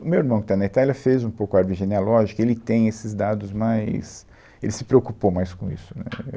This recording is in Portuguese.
O meu irmão, que está na Itália, fez um pouco a árvore genealógica, ele tem esses dados mais, ele se preocupou mais com isso, né?